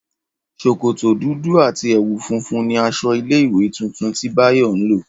Ṣòkòtò dúdú àti ẹ̀wù funfun ni aṣọ ilé ìwé tuntun tí Báyọ̀ ń lọ